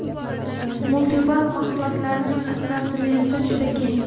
MULTIVAC mahsulotlarining assortimenti juda keng.